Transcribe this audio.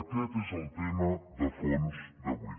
aquest és el tema de fons d’avui